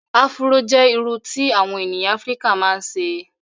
Afúró jẹ́ iru tí àwọn ènìyàn Afrika ma ń ṣe